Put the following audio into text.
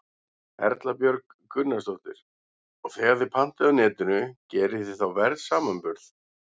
Erla Björg Gunnarsdóttir: Og þegar þið pantið á Netinu, gerið þið þá verðsamanburð?